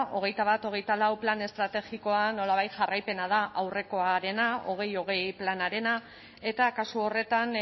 hogeita bat hogeita lau plan estrategikoa nolabait jarraipena da aurrekoarena bi mila hogei planarena eta kasu horretan